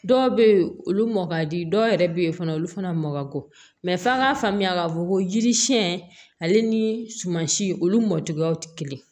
Dɔw bɛ yen olu mɔ ka di dɔw yɛrɛ bɛ yen fana olu fana mɔko mɛ f'a k'a faamuya k'a fɔ ko yiri siɲɛn ale ni sumansi olu mɔ cogoyaw tɛ kelen ye